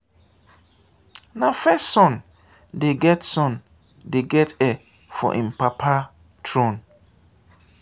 na first son dey get son dey get heir for im papa thrown.